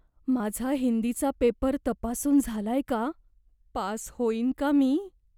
माझा हिंदीचा पेपर तपासून झालाय का? पास होईन का मी?